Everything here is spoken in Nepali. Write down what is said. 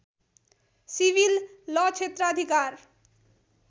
सिविल ल क्षेत्राधिकार